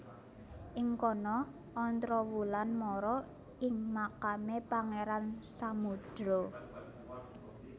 Ing kono Ontrowulan mara ing makame Pangeran Samudro